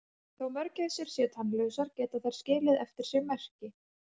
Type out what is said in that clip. Þó mörgæsir séu tannlausar geta þær skilið eftir sig merki.